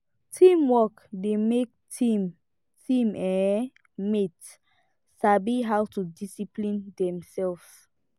teamwork dey make team team um mate sabi how to discipline themselves